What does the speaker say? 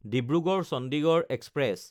Dibrugarh Chandigarh express